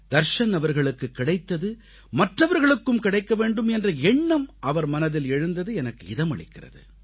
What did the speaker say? தர்ஷன் அவர்களுக்கு கிடைத்தது மற்றவர்களுக்கும் கிடைக்க வேண்டும் என்ற எண்ணம் அவர் மனதில் எழுந்தது எனக்கு இதமளிக்கிறது